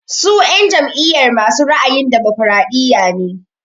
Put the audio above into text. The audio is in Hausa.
Su en jam'iyar masu ra'ayin damokaraɗiya ne.